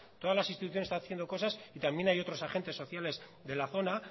todas las instituciones están haciendo cosas y también hay otros agentes sociales de la zona